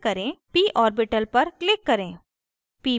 p orbital पर click करें